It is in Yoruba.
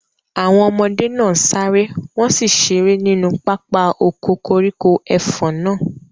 Àwọn ọmọdé náà sáré, wọn sì ṣeré nínú pápá oko koríko ẹfọ̀n náà.